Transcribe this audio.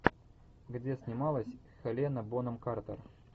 где снималась хелена бонем картер